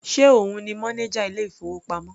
Ṣe òun ni mọ́néjà ilé ìfowópamọ́?